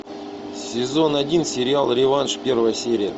сезон один сериал реванш первая серия